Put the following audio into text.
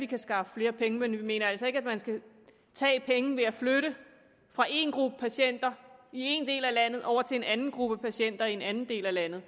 kan skaffe flere penge men vi mener altså ikke man skal tage pengene ved at flytte dem fra en gruppe patienter i en del af landet over til en anden gruppe patienter i en anden del af landet